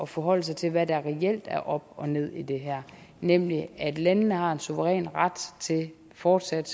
forholde sig til hvad der reelt er op og ned i det her nemlig at landene selvfølgelig har en suveræn ret til fortsat